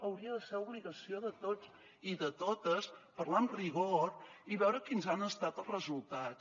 hauria de ser obligació de tots i de totes parlar amb rigor i veure quins han estat els resultats